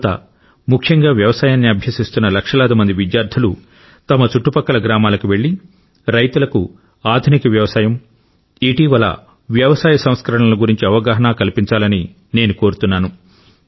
యువత ముఖ్యంగా వ్యవసాయాన్ని అభ్యసిస్తున్న లక్షలాది మంది విద్యార్థులు తమ చుట్టుపక్కల గ్రామాలకు వెళ్లి రైతులకు ఆధునిక వ్యవసాయం ఇటీవలి వ్యవసాయ సంస్కరణల గురించి అవగాహన కల్పించాలని నేను కోరుతున్నాను